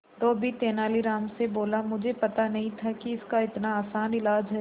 धोबी तेनालीराम से बोला मुझे पता नहीं था कि इसका इतना आसान इलाज है